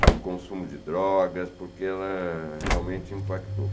sobre o consumo de drogas, porque ela realmente impactou.